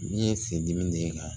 N'i ye sen dimi na